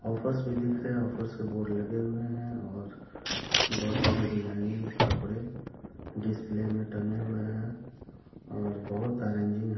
Offers भी दिख रहे है ऑफर्स के बोर्ड लगे हुए है और बहुत सारे डिजाइनिंग कपड़े डिस्प्ले में टंगे हुए है। और बहुत